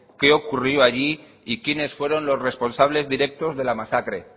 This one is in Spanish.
qué ocurrió allí y quiénes fueron los responsables directos de la masacre